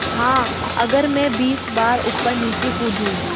हाँ अगर मैं बीस बार ऊपरनीचे कूदूँ